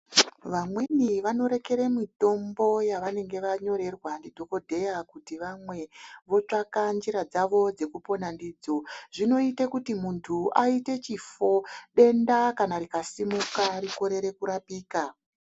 Vamweni vanorekere mitombo yevanenge vanyorerwa ndidhokodheya kuti vamwe votsvaka nzira dzavo dzekupona ndidzo zvinoite kuti munthu aite chifo denda kana rikasimuka rikorere kurapika.